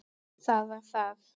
Það var það.